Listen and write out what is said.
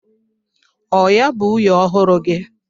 Ọ ya bụ nwunye ọhụrụ gị?